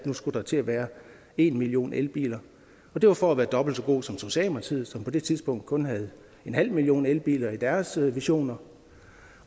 nu skulle til at være en million elbiler det var for at være dobbelt så god som socialdemokratiet som på det tidspunkt kun havde en halv million elbiler i deres visioner